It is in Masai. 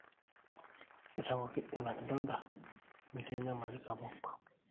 eitawuoki ina kidonda metii enyamali sapuk